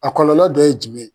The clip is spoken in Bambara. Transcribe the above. A kɔlɔlɔ dɔ ye jumɛn ye ?